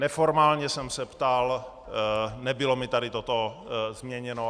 Neformálně jsem se ptal, nebylo mi tady toto změněno.